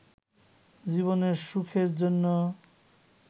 জীবনের সুখের জন্য